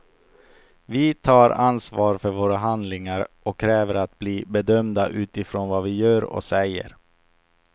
Vi tar ansvar för våra handlingar och kräver att bli bedömda utifrån vad vi gör och säger.